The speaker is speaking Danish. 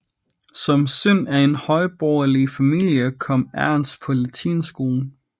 Som søn af en højborgerlig familie kom Ernst på latinskolen